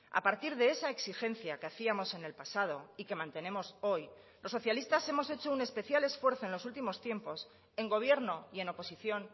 a partir de esa exigencia que hacíamos en el pasado y que mantenemos hoy los socialistas hemos hecho un especial esfuerzo en los últimos tiempos en gobierno y en oposición